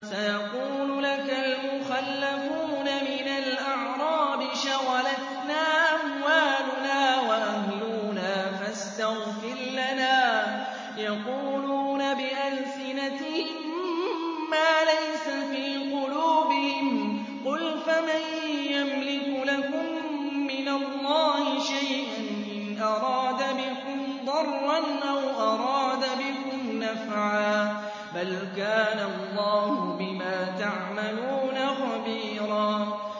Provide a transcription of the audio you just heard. سَيَقُولُ لَكَ الْمُخَلَّفُونَ مِنَ الْأَعْرَابِ شَغَلَتْنَا أَمْوَالُنَا وَأَهْلُونَا فَاسْتَغْفِرْ لَنَا ۚ يَقُولُونَ بِأَلْسِنَتِهِم مَّا لَيْسَ فِي قُلُوبِهِمْ ۚ قُلْ فَمَن يَمْلِكُ لَكُم مِّنَ اللَّهِ شَيْئًا إِنْ أَرَادَ بِكُمْ ضَرًّا أَوْ أَرَادَ بِكُمْ نَفْعًا ۚ بَلْ كَانَ اللَّهُ بِمَا تَعْمَلُونَ خَبِيرًا